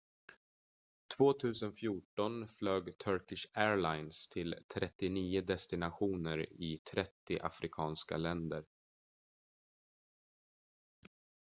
2014 flög turkish airlines till 39 destinationer i 30 afrikanska länder